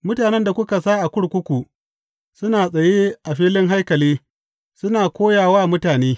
Mutanen da kuka sa a kurkuku suna tsaye a filin haikali suna koya wa mutane.